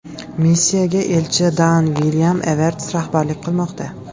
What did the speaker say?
Missiyaga elchi Daan Vilyam Everts rahbarlik qilmoqda.